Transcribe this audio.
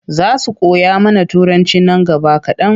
Za su koya mana Turanci nan gaba kaɗan.